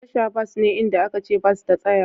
Tasha bas ne inda aka ce bas ta tsaya.